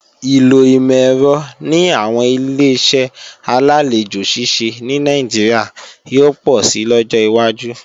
Ìlò ìmọ̀-ẹ̀rọ ní àwọn Ileṣẹ́ alálejò ṣíṣe ní Nàìjíríà yóò pọ̀si lọ́jọ́ wájú